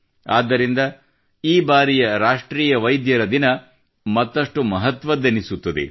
ಆದ್ದರಿಂದ ಈ ಬಾರಿಯ ರಾಷ್ಟ್ರೀಯ ವೈದ್ಯರ ದಿನ ಮತ್ತಷ್ಟು ಮಹತ್ವದ್ದೆನಿಸುತ್ತದೆ